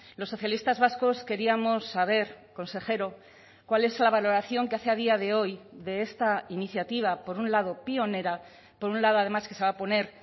los socialistas vascos queríamos saber consejero cuál es la valoración que hace a día de hoy de esta iniciativa por un lado pionera por un lado además que se va a poner